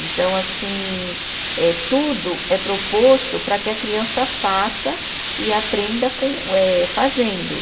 Então, assim eh, tudo é proposto para que a criança faça e aprenda com eh, fazendo.